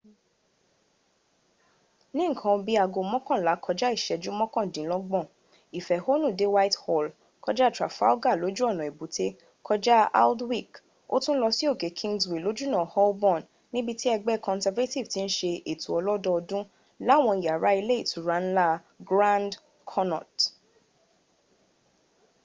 ní nǹkan bí i aago mọ́kànlá kọjá ìṣẹ́jú mọ́kàndínlọ́gbọ̀n ìfẹ̀hónù dé whitehall kọjá trafalgar lójú ọ̀nà èbúté kọjá aldwych ó tún lọ sí òkè kingsway lójúọ̀nà holborn níbití ẹgbẹ́ conservative ti ń se ètò ọlọ́dọọdún láwọn yàrá ilé ìtura ńlá grand connaught